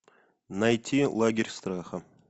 найти лагерь страха